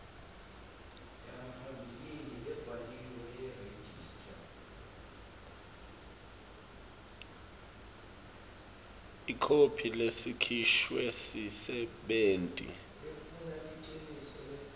ikhophi lesikhishwe sisebenti